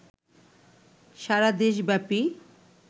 সারাদেশ ব্যাপী